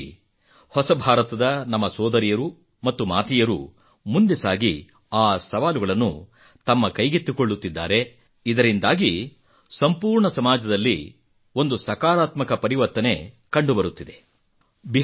ವಿಶೇಷವಾಗಿ ಹೊಸಭಾರತದ ನಮ್ಮ ಸೋದರಿಯರು ಮತ್ತು ಮಾತೆಯರು ಮುಂದೆ ಸಾಗಿ ಆ ಸವಾಲುಗಳನ್ನು ತಮ್ಮ ಕೈಗೆತ್ತಿಕೊಳ್ಳುತ್ತಿದ್ದಾರೆ ಇದರಿಂದಾಗಿ ಸಂಪೂರ್ಣ ಸಮಾಜದಲ್ಲಿ ಒಂದು ಸಕಾರಾತ್ಮಕ ಪರಿವರ್ತನೆ ಕಂಡುಬರುತ್ತಿದೆ